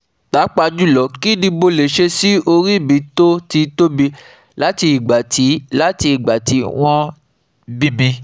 papajulo, kini mole se si ori mi to ti tobi lati igba ti lati igba ti won bimi